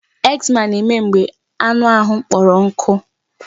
Eczema na-eme mgbe anụ ahụ kpọrọ nkụ.